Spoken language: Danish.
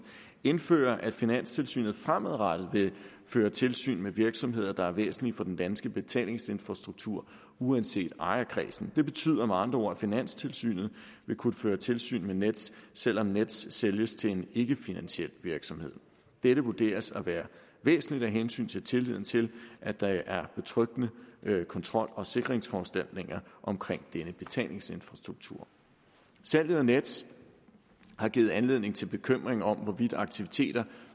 indfører det at finanstilsynet fremadrettet vil føre tilsyn med virksomheder der er væsentlige for den danske betalingsinfrastruktur uanset ejerkredsen det betyder med andre ord at finanstilsynet vil kunne føre tilsyn med nets selv om nets sælges til en ikkefinansiel virksomhed dette vurderes at være væsentligt af hensyn til tilliden til at der er betryggende kontrol og sikringsforanstaltninger omkring denne betalingsinfrastruktur salget af nets har givet anledning til bekymring om hvorvidt aktiviteter